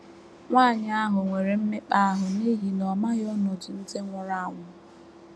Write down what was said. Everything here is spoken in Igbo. Nwanyị ahụ nwere mmekpa ahụ n’ihi na ọ maghị ọnọdụ ndị nwụrụ anwụ.